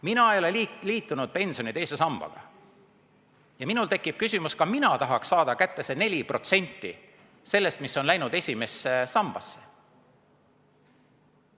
" Mina ei ole liitunud pensioni teise sambaga ja mul tekib küsimus, et ka mina tahaks saada kätte 4% sellest, mis on läinud esimesse sambasse.